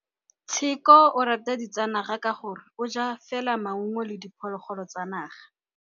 Tshekô o rata ditsanaga ka gore o ja fela maungo le diphologolo tsa naga.